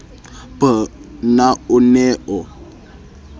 b na o ne o